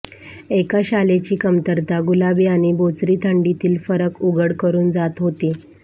एका शालेची कमतरता गुलाबी आणि बोचरी थंडीतील फरक उघड करून जात होती